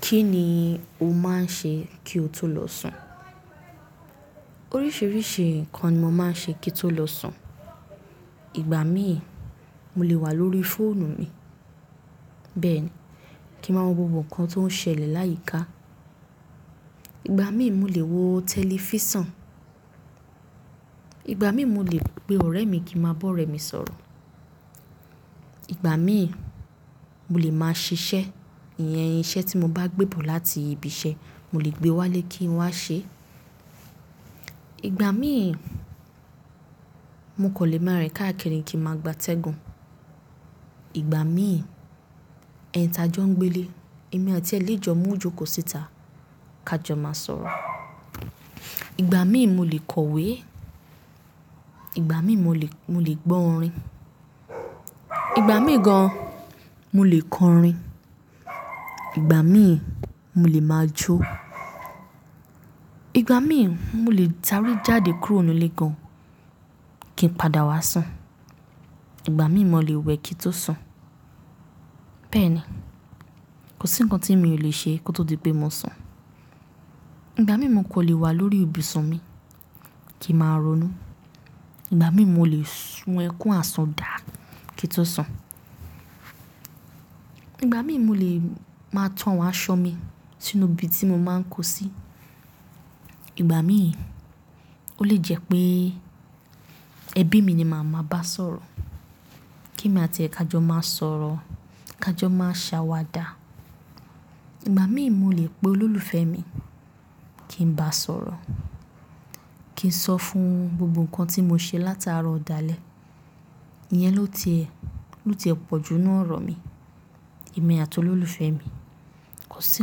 Kí ni o máa ń ṣe kí o tó lọ sùn? Oríṣiríṣi nǹkan ni mo máa ń ṣe kí n tó lọ sùn. Ìgbà míì, mo lè wà lórí fóònù mi. Bẹ́ẹ̀ni, kí n máa mọ gbogbo nǹkan tó ń ṣẹlẹ̀ láyìíká. Ìgbà míì mo lè wo tẹlifísàn, ìgbà míì mo lè pe ọ̀rẹ́ mi kí n máa bọ́ ọ̀rẹ́ mi sọ̀rọ̀, ìgbà míì mo lè máa ṣiṣẹ́, ìyẹn iṣẹ́ tí mo bá gbé bọ̀ láti ibi iṣẹ́, mo lè gbé wálé kí n wá ṣe. Ìgbà míì, mo kan lè má rìn káàkiri kí n máa gbátẹ́gùn. Ìgbà míì, ẹni tajọ́ ń gbé le, èmi àti ẹ lẹ jọ mú ìjókò síta ká jọ máa sọ̀rọ̀. Ìgbà míì mo lè kọ̀wé, ìgbà míì mo lè, mo lè gbọ́ orin, ìgbà míì gan-an mo lè kọ orin, ìgbà míì mo lè máa jó. Ìgbà míì mo lè sáré jáde kúrò nínú ilé gan-an kí n padà wá sùn. Ìgbà míì mo lè wẹ̀ kí n tó sùn. Bẹ́ẹ̀ni, kò sí nǹkan tí mi ò le ṣe kó tó di pé mo sùn. Ìgbà míì mo kò lè wà lórí ibùsùn mi kí n máa ronú. Ìgbà míì mo lè sun ẹkún asun daa kí n tó sùn. Ìgbà míì mo lè máa to àwọn aṣọ mi sínú ibi tí mo máa ń kó sí. Ìgbà míì ó lè jẹ́ pé ẹbí mi ni màá máa bá sọ̀rọ̀ kí èmi àti ẹ ká jọ máa sọ̀rọ̀, ká jọ máa ṣàwàdà. Ìgbà míì mo lè pe olólùfẹ́ mi kí n bá a sọ̀rọ̀, kí n sọ fún un gbogbo nǹkan tí mo ṣe latarọ dalẹ, ìyẹn ló ti ẹ, ló ti ẹ pọ̀ ju nínú ọ̀rọ̀ mi, èmi àti olólùfẹ́ mi. Kò sí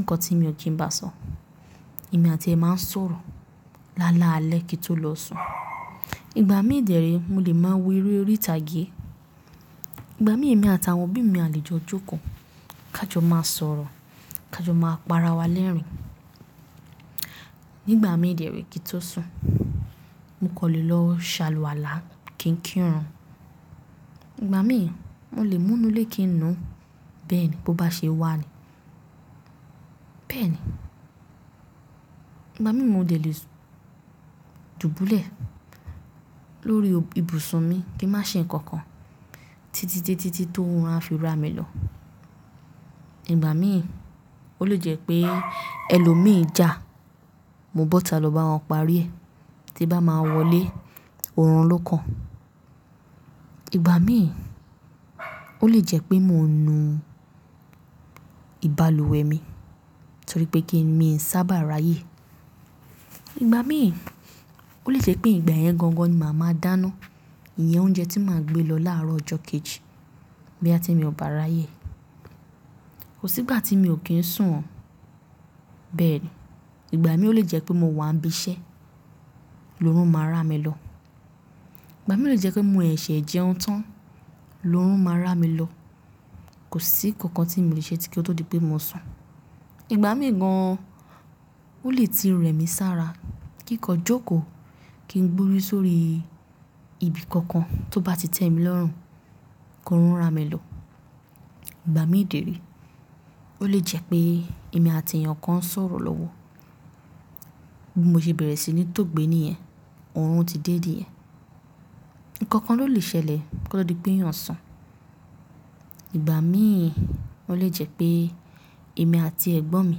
nǹkan tí mi ò kí n bá a sọ. Èmi àti ẹ máa ń sọ̀rọ̀ lálá alẹ́ kí n tó lọ sùn. Ìgbà míì dẹ ree mo lè máa wo eré orí ìtàgé. Ìgbà míì èmi àti àwọn òbí mi a lè jọ jókòó ká jọ máa sọ̀rọ̀, ká jọ máa pa ara wa lẹ́rìn-ín. Nígbà míì dẹ re kí n tó sùn, mo kan lè lọ ṣàlùwàlá kí n kírun. Ìgbà míì mo lè mú nu lé kí n nu. Bẹ́ẹ̀ ni, bó bá ṣe wà ni. Bẹ́ẹ̀ni, ìgbà míì mo lè lè dùbúlẹ̀ lórí ibùsùn mi kí n má ṣe nǹkan kan títítítí tí orun a fi ra mi lọ. Ìgbà míì ó lè jẹ́ pé ẹlòmíì já, mo bọ́ta lọ bá wọn parí ẹ̀ tí bá máa wọlé, òórùn ló kan. Ìgbà míì ó lè jẹ́ pé mo nu ìbálùwẹ̀ mi torí pé kí mi n ṣàbà ráyè. Ìgbà míì ó lè jẹ́ pé ìgbà ẹ̀yẹn gan gan ni màá máa dáná, ìyẹn oúnjẹ tí màá gbé lọ láàárọ̀ ọjọ́ kejì bóyá tí mi ò bá ráyè. Kò sí ìgbà tí mi ò kí ń sùn o. Bẹ́ẹ̀ni, ìgbà míì ó lè jẹ́ pé mo wà níbi iṣẹ́ lóórùn máa ra mi lọ. Ìgbà míì ó lè jẹ́ pé mo ṣẹṣẹ jẹun tán lóórùn máa ra mi lọ. Kò sí ǹkankan tí mi o lè ṣe kí ó tó di pé mo sùn. Ìgbà míì gan-an ó lè ti rẹ mi sára kí n kan jókòó, kí n gbórí sórí ibi kankan tó bá ti tẹ́ mi lọ́rùn ko run ra mi lọ. Ìgbà míì dè re, ó lè jẹ́ pé èmi àti èèyàn kan ń sọ̀rọ̀ lọ́wọ́, bí mo ṣe bẹ̀rẹ̀ sí ní tó gbé níyẹn, òórùn ti dé niyẹn. Nǹkan kan ló lè ṣẹlẹ̀ kó tó di pé èyàn sùn. Ìgbà míì ó lè jẹ́ pé èmi àti ẹ̀gbọ́n mi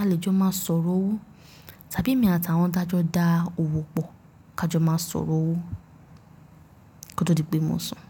a lè jọ máa sọ̀rọ̀ owó tàbí èmi àti àwọn daa òwò pọ̀ ká jọ máa sọ̀rọ̀ owó kó tó di pé mo sùn.